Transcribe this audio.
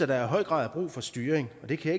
der i høj grad er brug for styring og det kan